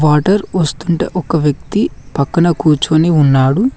Water వస్తుంటే ఒక వ్యక్తి పక్కన కూర్చొని ఉన్నాడు.